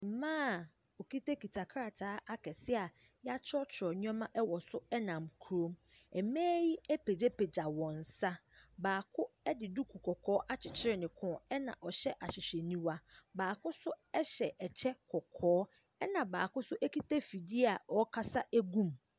Mmaa a wɔkitakita ktataa akɛse a yɛakyerɛwkyerɛw nneɛma wɔ so nam kurom. Ɛmaa yi apegyapegya wɔn nsa. Baako de duku akyekyere ne kɔn na ɔhyɛ ahwehwɛniwa. Baako nso hyɛ kyɛ kɔkɔɔ. Ɛna baako nso kita afidie a ɔreasa go mu.